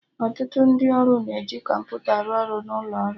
Ọtụtụ ndị ọrụ na-eji kọmputa arụ ọrụ n'ụlo ọrụ